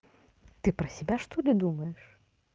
ты про себя что ли думаешь